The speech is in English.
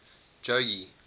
jogee